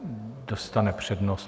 Dostane přednost.